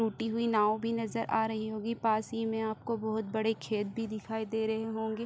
टूटी हुई नाव भी नज़र आ रही होंगी पास ही में आपको बहोत बड़े खेत भी दिखाई दे रहे होंगे।